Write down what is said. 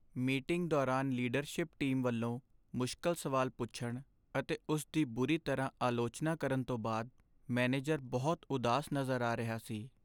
Meeting ਦੌਰਾਨ leadership team ਵੱਲੋਂ ਮੁਸ਼ਕਲ ਸਵਾਲ ਪੁੱਛਣ ਅਤੇ ਉਸ ਦੀ ਬੁਰੀ ਤਰ੍ਹਾਂ ਆਲੋਚਨਾ ਕਰਨ ਤੋਂ ਬਾਅਦ ਮੈਨੇਜਰ ਬਹੁਤ ਉਦਾਸ ਨਜ਼ਰ ਆ ਰਿਹਾ ਸੀ।